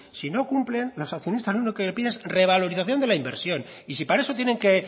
si no cumplen los accionistas lo que piden es revalorización de la inversión y si para eso tienen que